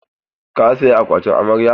Ka saya akwatin amarya?